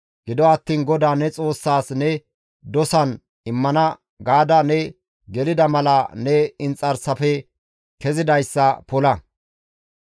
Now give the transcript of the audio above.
Gido attiin GODAA ne Xoossas ne dosan immana gaada ne gelida mala ne inxarsafe kezidayssa pola.